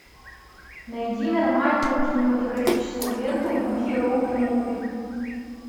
найди нормальную кинематографическую ленту в духе роут муви